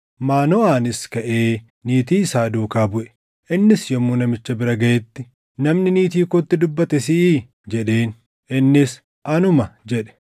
Maanoʼaanis kaʼee niitii isaa duukaa buʼe. Innis yommuu namicha bira gaʼetti, “Namni niitii kootti dubbate siʼii?” jedheen. Innis, “Anuma” jedhe.